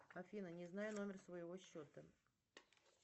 афина не знаю номер своего счета